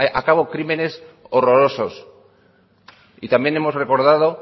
a cabo crímenes horrorosos y también hemos recordado